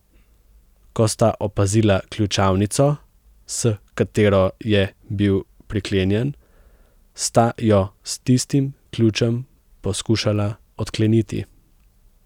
Ko sta opazila ključavnico, s katero je bil priklenjen, sta jo s tistim ključem poskušala odkleniti.